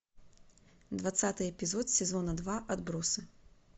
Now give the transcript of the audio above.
двадцатый эпизод сезона два отбросы